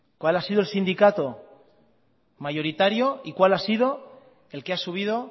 cuál ha sido el sindicato mayoritario y cuál ha sido el que ha subido